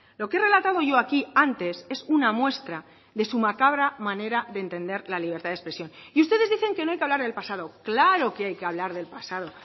lo que he relatado yo aquí antes es una muestra de su macabra manera de entender la libertad de expresión y ustedes dicen que no hay que hablar del pasado claro que hay que hablar del pasado